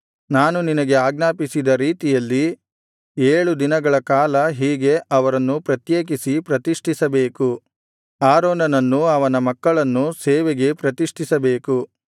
ನಾನು ನಿನಗೆ ಆಜ್ಞಾಪಿಸಿದ ರೀತಿಯಲ್ಲಿ ಏಳು ದಿನಗಳ ಕಾಲ ಹೀಗೆ ಅವರನ್ನು ಪ್ರತ್ಯೇಕಿಸಿ ಪ್ರತಿಷ್ಠಿಸಬೇಕು ಆರೋನನನ್ನೂ ಅವನ ಮಕ್ಕಳನ್ನೂ ಸೇವೆಗೆ ಪ್ರತಿಷ್ಠಿಸಬೇಕು